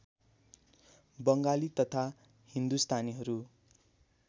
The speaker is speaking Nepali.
बङ्गाली तथा हिन्दुस्तानीहरू